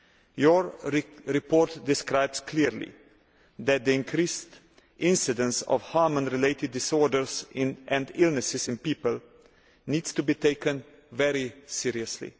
Your report describes clearly that the increased incidence of hormone related disorders and illnesses in people needs to be taken very seriously.